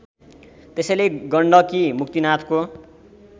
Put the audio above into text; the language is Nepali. त्यसैले गण्डकी मुक्तिनाथको